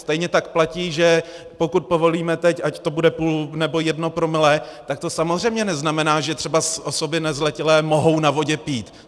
Stejně tak platí, že pokud povolíme teď, ať to bude půl, nebo jedno promile, tak to samozřejmě neznamená, že třeba osoby nezletilé mohou na vodě pít.